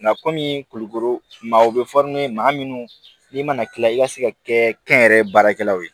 Nka kɔmi kulukoro maaw bɛ maa minnu n'i mana kila i ka se ka kɛ kɛnyɛrɛkɛlaw ye